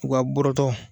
U ka bɔrɔtɔ